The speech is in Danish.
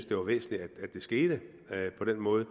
det var væsentligt at det skete på den måde